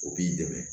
U b'i dɛmɛ